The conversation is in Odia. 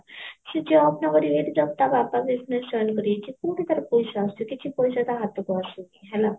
ସେ job ନକରି ଯଦି ତା ବାପା business join କରିଯାଇଛି କଉଠି ତା ପଇସା ଆସୁଛି କିଛି ପଇସା ତା ହାତକୁ ଆସୁନି ହେଲା